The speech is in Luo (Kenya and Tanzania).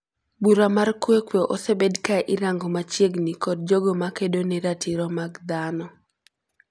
Bura mar Kwekwe osebed ka irango machiegn kod jogo makedo ne ratiro mag dhano.